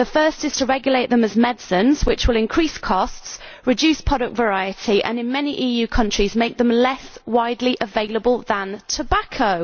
The first is to regulate them as medicines, which will increase costs, reduce product variety and in many EU countries make them less widely available than tobacco!